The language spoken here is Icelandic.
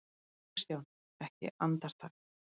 KRISTJÁN: Ekki andartak?